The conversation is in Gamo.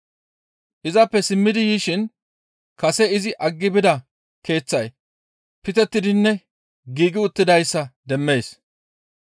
Izappe simmidi yishin kase izi aggi bida keeththay pitettidinne giigi uttidayssa demmees.